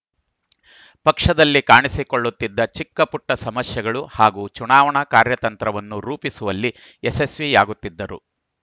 ಪಕ್ಷದಲ್ಲಿ ಕಾಣಿಸಿಕೊಳ್ಳುತ್ತಿದ್ದ ಚಿಕ್ಕಪುಟ್ಟಸಮಸ್ಯೆಗಳು ಹಾಗೂ ಚುನಾವಣಾ ಕಾರ್ಯತಂತ್ರವನ್ನು ರೂಪಿಸುವಲ್ಲಿ ಯಶಸ್ವಿಯಾಗುತ್ತಿದ್ದರು